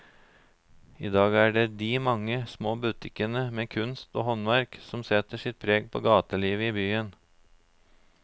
I dag er det de mange små butikkene med kunst og håndverk som setter sitt preg på gatelivet i byen.